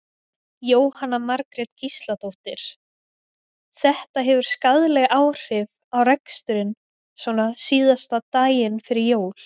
Jóhanna Margrét Gísladóttir: Þetta hefur skaðleg áhrif á reksturinn svona síðasta daginn fyrir jól?